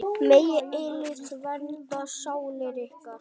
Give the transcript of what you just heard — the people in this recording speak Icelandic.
Megi eilífð vernda sálir ykkar.